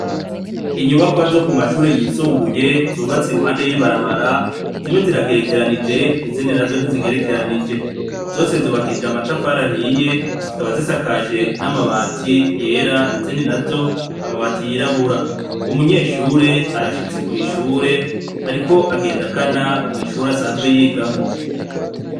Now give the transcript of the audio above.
Inyubakwa zo kumashure yisumbuye zubatse iruhande yibarabara zimwe ziragerekeranyije izindi nazo ntizigerekeranije zose zubakishijwe amatafari ahiye zikaba sakanije izindi zigerekeranije zose zubakishijwe namatafari ahiye zikaba zisakajwe namabati yera izindi nazo amabati yirabura umunyeshure arashitse kwishure ariko agana kwishure asanzwe yigamwo